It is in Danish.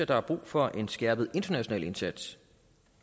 der er brug for en skærpet international indsats